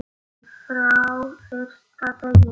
Frá fyrsta degi.